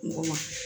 Mɔgɔ ma